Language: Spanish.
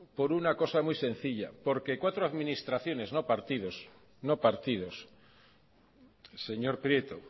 por una cosa muy sencilla porque cuatro administraciones no partidos no partidos señor prieto